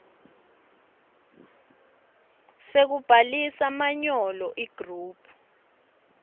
sekubhalisa manyolo igroup